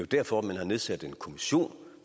derfor man har nedsat en kommission